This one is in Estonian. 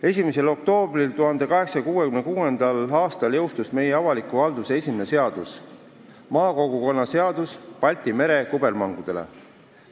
1. oktoobril 1866. aastal jõustus meie avaliku halduse esimene seadus "Makoggukonna Seadus Baltia-merre kubbermangudele.